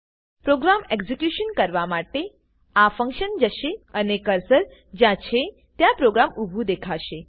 programme execution કરવા માટે આ ફંક્શન જશે અને કર્સર જ્યાં છે ત્યાં પ્રોગ્રામ ઉભું દેખાશે